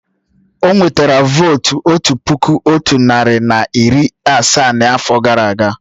O nwetara vóótú otu puku otu narị na iri asaa n'afọ gara aga